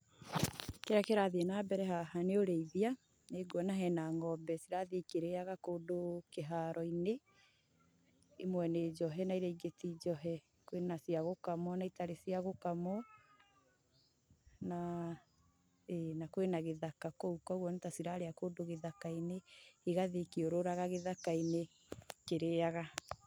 Kĩrĩa kĩrathiĩ na mbere haha nĩ ũrĩithia, ni nguona hena ng'ombe irathii ikĩrĩaga kũndũ kĩharo-inĩ. Imwe ni njohe na iria ingi ti njohe. Kwĩna cia gũkamwo na itarĩ cia gũkamwo. Na ĩĩ na kwĩna gĩthaka kũu ũguo nĩ ta cirarĩa kũndũ gĩthaka-inĩ, igathiĩ ikĩũrũraga githaka-inĩ ikĩrĩaga.